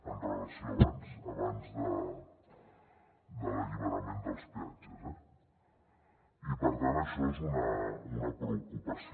amb relació a abans de l’alliberament dels peatges eh i per tant això és una preocupació